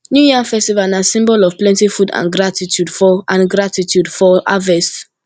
new yam festival na symbol of plenty food and gratitude for and gratitude for harvest